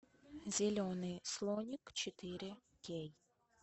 зеленый слоник четыре кей